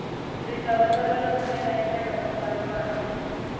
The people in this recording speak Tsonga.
risavasava rikumeka etlhelo ka lwandle